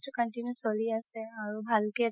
continue চলি আছে আৰু ভালকে